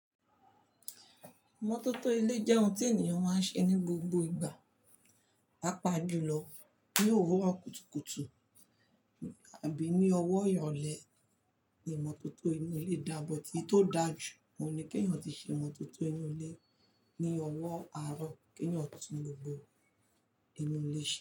Ìmọ́tótó ilé jẹ́ ohun tí ènìyàn máa ń ṣe ní gbogbo ìgbà. Papa jùlọ ní òwúrọ̀ kùtùkùtù àbí ní ọwọ́ ìrọ̀lẹ́ ni ìmọ́tótó inú ilé dà, but eyi tó dà ju, òun ni kí ènìyàn tí ṣe ìmọ́tótó inú ilé ní ọwọ́ àárọ̀ kí ènìyàn tún gbogbo inú ilé ṣe.